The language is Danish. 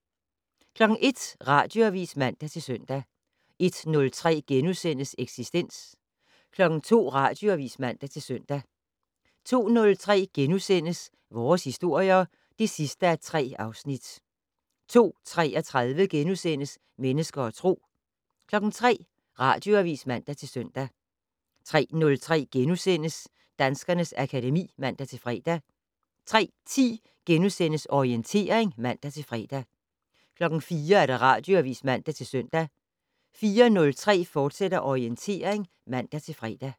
01:00: Radioavis (man-søn) 01:03: Eksistens * 02:00: Radioavis (man-søn) 02:03: Vores historier (3:3)* 02:33: Mennesker og Tro * 03:00: Radioavis (man-søn) 03:03: Danskernes akademi *(man-fre) 03:10: Orientering *(man-fre) 04:00: Radioavis (man-søn) 04:03: Orientering, fortsat (man-fre)